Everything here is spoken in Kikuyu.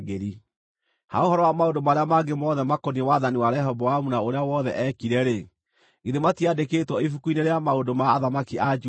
Ha ũhoro wa maũndũ marĩa mangĩ mothe makoniĩ wathani wa Rehoboamu na ũrĩa wothe eekire-rĩ, githĩ matiandĩkĩtwo ibuku-inĩ rĩa maũndũ ma athamaki a Juda?